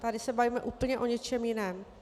Tady se bavíme úplně o něčem jiném.